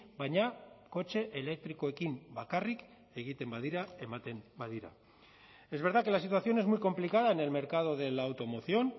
baina kotxe elektrikoekin bakarrik egiten badira ematen badira es verdad que la situación es muy complicada en el mercado de la automoción